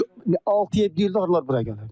Bu 6-7 ildir arılar bura gəlir.